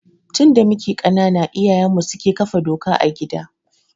Tun da muke ƙanana iyayenmu suke kafa doka a gida.